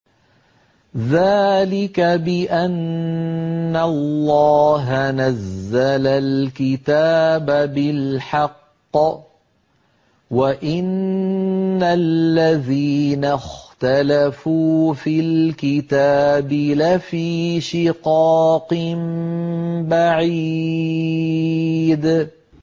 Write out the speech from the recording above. ذَٰلِكَ بِأَنَّ اللَّهَ نَزَّلَ الْكِتَابَ بِالْحَقِّ ۗ وَإِنَّ الَّذِينَ اخْتَلَفُوا فِي الْكِتَابِ لَفِي شِقَاقٍ بَعِيدٍ